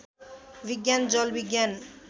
विज्ञान जल विज्ञान